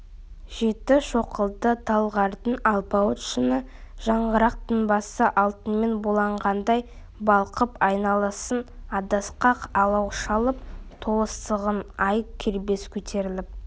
жеті шоқылы талғардың алпауыт шыңы жанғырық тынбасы алтынмен булағандай балқып айналасын адасқақ алау шалып толықсыған ай кербез көтеріліп